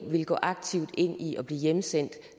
vil gå aktivt ind i at blive udsendt